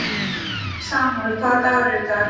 Samúel, hvaða dagur er í dag?